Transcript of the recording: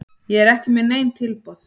Ég er ekki með nein tilboð.